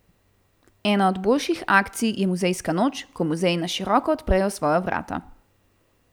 Ena od boljših akcij je muzejska noč, ko muzeji na široko odprejo svoja vrata.